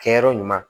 Kɛyɔrɔ ɲuman